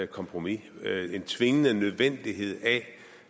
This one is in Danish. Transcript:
kompromis en tvingende følelse af nødvendighed af